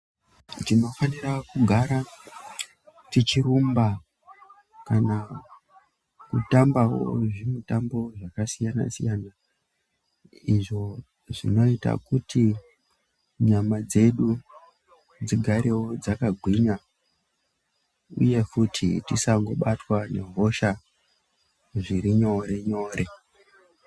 Tinofanira kugara tichirumba kana kutambawo zvimutambo zvakasiyana-siyana, izvo zvinoita kuti nyama dzedu dzigarewo dzakagwinya, uye futi tisangobatwa nehosha zviri nyore-nyore.